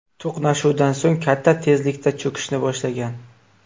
To‘qnashuvdan so‘ng katta tezlikda cho‘kishni boshlagan.